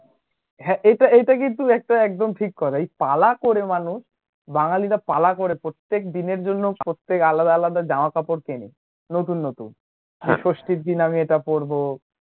হ্যা, এইটা এইটা কিন্তু একটা একদম ঠিক করা এই পালা করে মানুষ বাঙালীরা পালা করে প্রত্যেক দিনের জন্য, প্রত্যেক আলাদা আলাদ জামা কাপড় কেনে নতুন নতুন ষষ্ঠীর দিনে আমি এটা পরবো